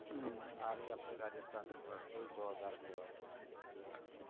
હમ આવી આપણી રાજસ્થાન સરકાર, કેવી જવાબદાર કહેવાય